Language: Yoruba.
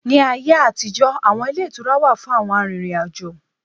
Ní ayé àtijó, awọn ilé ìtura wà fún àwọn arìnrìn-àjò